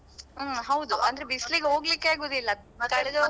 ಹ್ಮ್ ಹೌದು. ಅಂದ್ರೆ ಬಿಸ್ಲಿಗೆ ಹೋಗ್ಲಿಕ್ಕೆ ಆಗುದಿಲ್ಲ